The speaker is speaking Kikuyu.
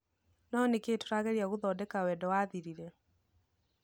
no nĩkĩ tũrageria gũthodeka wendo wathirire.